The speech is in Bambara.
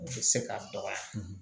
U bɛ se ka dɔgɔya